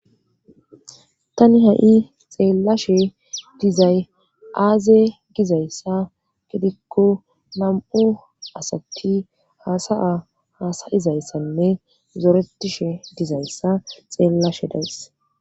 Tani ha7i xeellashe dizay aaze gizayssa gidikko nam7u asatti hasaya haasayizayssanne zoretishe dizayssa xeellashe deys.